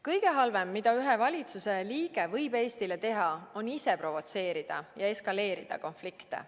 Kõige halvem, mida ühe valitsuse liige võib Eestile teha, on ise provotseerida ja eskaleerida konflikte.